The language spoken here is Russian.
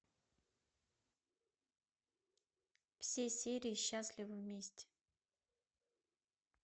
все серии счастливы вместе